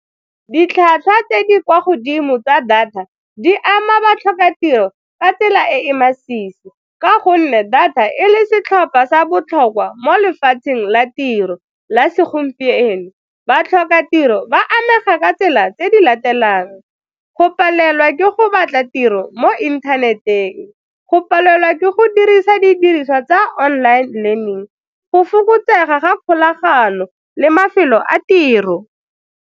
Ditlhwatlhwa tse di kwa godimo tsa data di ama batlhokatiro ka tsela e e masisi ka gonne data e le setlhopha sa botlhokwa mo lefatsheng la tiro la segompieno. Batlhokatiro ba amega ka tsela tse di latelang, go palelwa ke go batla tiro mo internet-eng, go palelwa ke go dirisa didiriswa tsa online learning, go fokotsega ga kgolagano le mafelo a tiro.